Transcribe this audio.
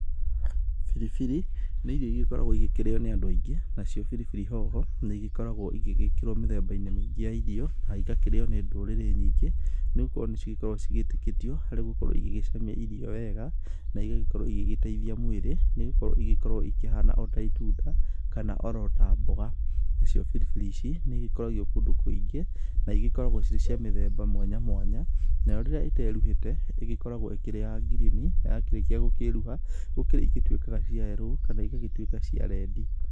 Biribiri nĩ ĩrĩo ĩrĩa cĩkoragwo ĩkir